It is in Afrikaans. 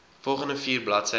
volgende vier bladsye